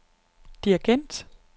dirigent